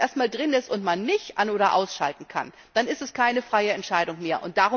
Wenn es erst einmal drin ist, und man nicht an oder ausschalten kann, dann ist es keine freie Entscheidung mehr.